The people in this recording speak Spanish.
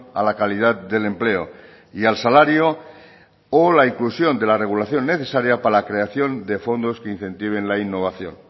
a la calidad del empleo y al salario o la inclusión de la regulación necesaria para la creación de fondos que incentiven la innovación